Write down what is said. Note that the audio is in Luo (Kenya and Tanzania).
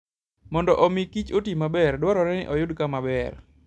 Mondo omi kichoti maber, dwarore ni oyud kama ber.